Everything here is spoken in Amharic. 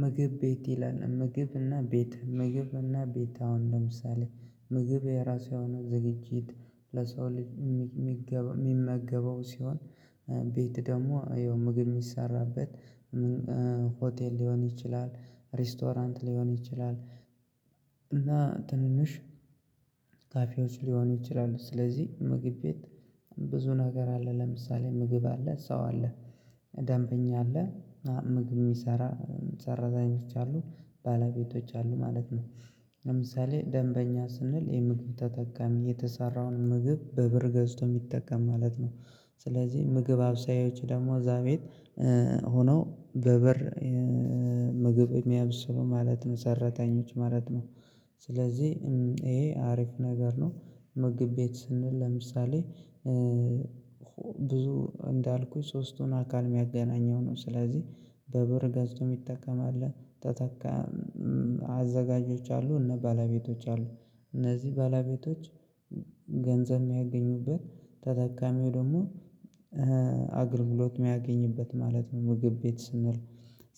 ምግብ ቤት ይላል ምግብና ቤት ምግብና ቤት አሁን ለምሳሌ ምግብ የራሱ የሆነ ዝግጅት ለሰው ልጅ የሚመገበው ሲሆን ቤት ደግሞ ይኸው ምግብ የሚሰራበት ሆቴል ሊሆን ይችላል ሬስቶራንት ሊሆን ይችላል። እና ትንንሽ ካፌዎች ሊሆኑ ይችላሉ። ስለዚህ ምግብ ቤት ብዙ ነገር አለ ለምሳሌ ምግብ አለ ሰው አለ ደንበኛ አለ ምግብ የሚሰራ ሰራተኞች አሉ ባለቤቶች አሉ ማለት ነው። ለምሳሌ ደንበኛ ስንል የምግብ ተጠቃሚ የተሰራውን ምግብ በብር ገዝቶ የሚጠቀም ማለት ነው። ስለዚህ ምግብ አብሳዮች ደግሞ እዛ ቤት ሆነው በብር ምግብ የሚያበስሉ ማለት ነው ሰራተኞች ማለት ነው። ስለዚህ ይሄ አሪፍ ነገር ነው። ምግብ ቤት ስንል ለምሳሌ ብዙ እንዳልኩት ሶስቱን አካል የሚያገናኘው ነው። ስለዚህ በብር ገዝቶ የሚጠቀም አለ ተጠቀሚ አዘጋጆች አሉ እና ባለቤቶች አሉ እነዚህ ባለቤቶች ገንዘብ የሚያገኙበት ተጠቃሚው ደግሞ አገልግሎት የሚያገኙበት ማለት ነው። ምግብ ቤት ስንል